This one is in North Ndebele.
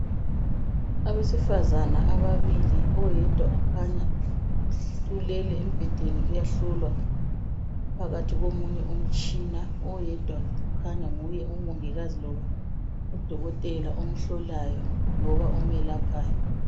Abesifazane ababili oyedwa ukhanya ulele embhedeni uyahlolwa phakathi komunye umtshina oyedwa kukhanya nguye umongikazi loba udokotela omhlolayo loba omelaphayo